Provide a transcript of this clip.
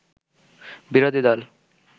বিরোধী দল